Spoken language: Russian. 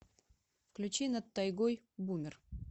включи над тайгой бумер